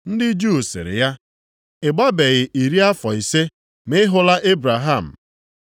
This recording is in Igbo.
Ndị Juu sịrị ya, “Ị gbabeghị iri afọ ise ma ị hụla Ebraham?”